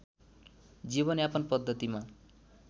जीवनयापन पद्धतिमा